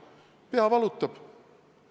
Pea valutab?